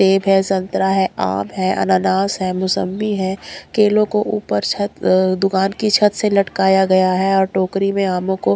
सेब है संतरा है आम है अनानास है मौसंबी है केलों को ऊपर अ छत दुकान की छत से लटकाया गया है और टोकरी में आमों को--